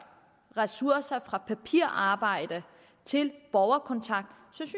ressourcer fra papirarbejde til borgerkontakt